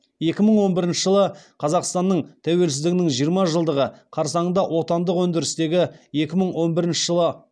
екі мың он бірінші жылы қазақстаның тәуелсіздігінің жиырма жылдығы қарсаңында отандық өндірістегі екі мың он бірінші жылы